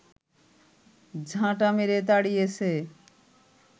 ঝাঁটা মেরে তাড়িয়েছে